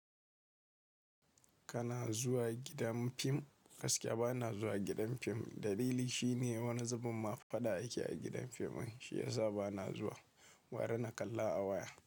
Kana zuwa gidan fim? Gaskiya ba na zuwa gidan fim. Dalili shine wani zubin mafada ake a gidan fim din, shi ya sa ba na zuwa. Gwara na kalla a waya.